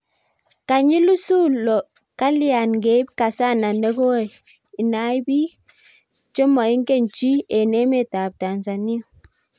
kanyi lusulo kalyain ngeib kasana negoi inai biik chemoingen chi eng emet ab Tanzania